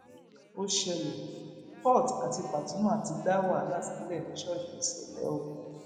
ó ṣẹlẹ port àti pasuma ti dá wàhálà sílẹ ní ṣọọṣì ṣẹlẹ o